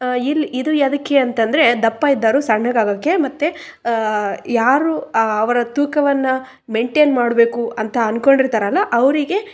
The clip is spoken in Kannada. ಇಲ್ಲಿ ಒಬ್ಬ ಹುಡುಗ ವಾಯ್ಯಾಮ ಮಾಡುತ್ತಿದ್ದಾನೆ ಇಲ್ಲಿ--